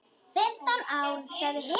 Fimmtán ár, sagði Hilmar.